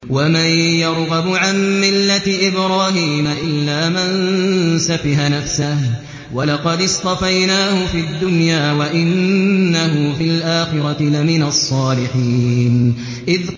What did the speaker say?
وَمَن يَرْغَبُ عَن مِّلَّةِ إِبْرَاهِيمَ إِلَّا مَن سَفِهَ نَفْسَهُ ۚ وَلَقَدِ اصْطَفَيْنَاهُ فِي الدُّنْيَا ۖ وَإِنَّهُ فِي الْآخِرَةِ لَمِنَ الصَّالِحِينَ